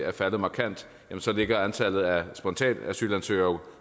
er faldet markant ligger antallet af spontanasylansøgere